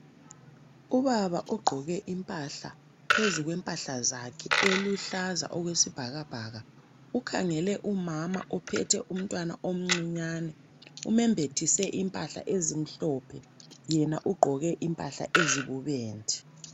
Ubaba ugqoke impahla phezu kwempahla zakhe eluhlaza okwesibhakabhaka ukhangele umama ophethe umntwana omncinyane omembathise impahla ezimhlophe yena ugqoke impahla ezibubende.